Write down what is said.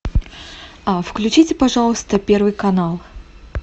включите пожалуйста первый канал